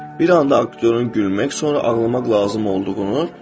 Bir anda aktyorun gülmək, sonra ağlamaq lazım olduğunu görürsən.